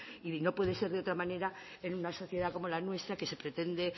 y no puede ser de otra manera en una sociedad como la nuestra que se pretende